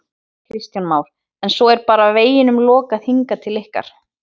Kristján Már: En svo er bara veginum lokað hingað til ykkar?